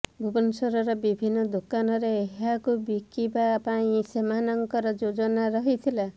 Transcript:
ଭୁବନେଶ୍ବରର ବିଭିନ୍ନ ଦୋକାନରେ ଏହାକୁ ବିକିବା ପାଇଁ ସେମାନଙ୍କର ଯୋଜନା ରହିଥିଲା